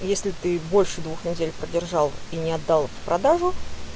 если ты больше двух недель продержал и не отдал в продажу